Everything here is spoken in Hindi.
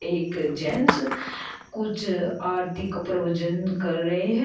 एक जेंट्स कुछ आरती के प्रवचन कर रहे हैं।